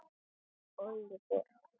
Óliver